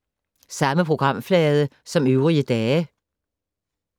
Samme programflade som øvrige dage